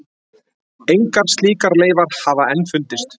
Engar slíkar leifar hafa enn fundist.